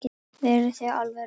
Verið þið alveg róleg.